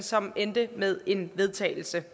som endte med en vedtagelse